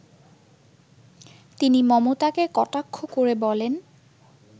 তিনি মমতাকে কটাক্ষ করে বলেন